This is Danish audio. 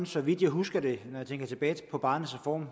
så vidt jeg husker det når jeg tænker tilbage på barnets reform